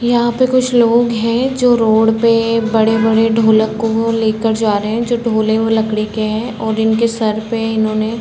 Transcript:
यहाँ पे कुछ लोग हैं जो रोड पे बड़े बड़े ढोलक को लेकर जा रहे हैं जो ढोले हैं वो लकड़ी के हैं और इनके सर पे इन्होंने --